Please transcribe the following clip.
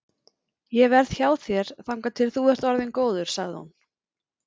Ég verð hjá þér þangað til þú ert orðinn góður, sagði hún.